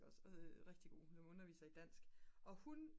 rigtig god hun underviser i dansk og hun